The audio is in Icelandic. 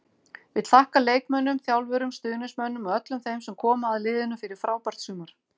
Vill þakka leikmönnum, þjálfurum, stuðningsmönnum og öllum þeim sem koma að liðinu fyrir frábært sumar.